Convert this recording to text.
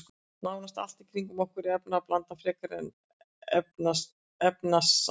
Nánast allt í kringum okkur er efnablanda frekar en efnasamband.